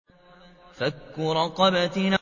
فَكُّ رَقَبَةٍ